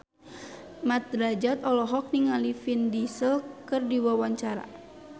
Mat Drajat olohok ningali Vin Diesel keur diwawancara